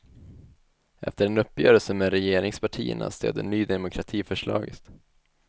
Efter en uppgörelse med regeringspartierna stöder ny demokrati förslaget.